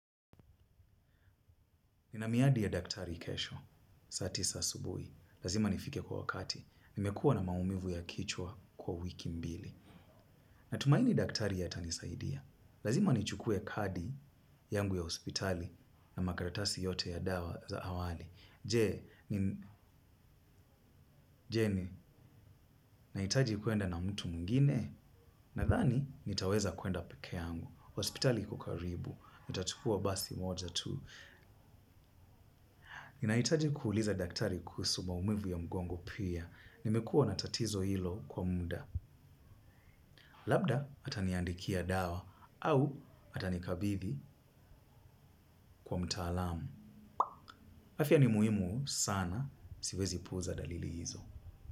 Nina miadi ya daktari kesho, saa tisa asubuhi. Lazima nifike kwa wakati. Nimekuwa na maumivu ya kichwa kwa wiki mbili. Natumaini daktari atanisaidia. Lazima nichukue kadi yangu ya hospitali na makaratasi yote ya dawa za awali. Je, nahiitaji kwenda na mtu mwengine. Nadhani, nitaweza kwenda peke yangu. Hospitali iko karibu. Nitachukua basi moja tu. Nahitaji kuuliza daktari kuhusu maumivu ya mgongo pia. Nimekuwa na tatizo hilo kwa muda. Labda, ataniandikia dawa au atanikabidhi kwa mtaalamu. Afya ni muhimu sana, siwezi puuza dalili hizo.